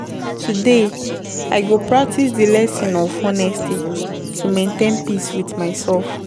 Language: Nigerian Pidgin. Today, I go practice di lesson of honesty to maintain peace with myself.